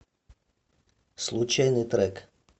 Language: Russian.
случайный трек